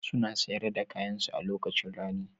Suna sayar da kayansu a lokacin rani.